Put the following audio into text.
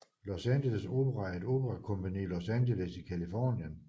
Los Angeles Opera er et operakompagni i Los Angeles i Californien